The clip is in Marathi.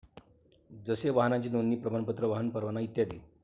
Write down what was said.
जसे वाहनाचे नोंदणी प्रमाणपत्र, वाहन परवाना इत्यादी.